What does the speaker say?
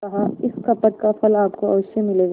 कहाइस कपट का फल आपको अवश्य मिलेगा